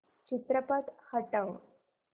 चित्रपट हटव